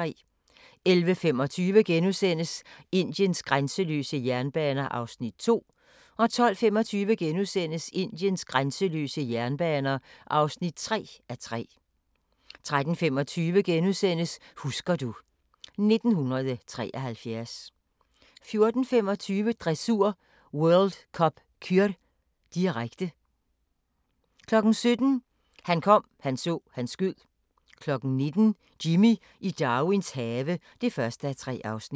(1:3)* 11:25: Indiens grænseløse jernbaner (2:3)* 12:25: Indiens grænseløse jernbaner (3:3)* 13:25: Husker du ... 1973 * 14:25: Dressur: World Cup Kür, direkte 17:00: Han kom, han så, han skød 19:00: Jimmy i Darwins have (1:3)